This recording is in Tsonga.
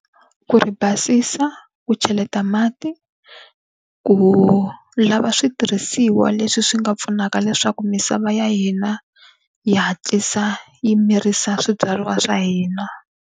Ku ri basisa, ku cheleta mati, ku lava switirhisiwa leswi swi nga pfunaka leswaku misava ya hina yi hatlisa yi mirisa swibyariwa swa hina.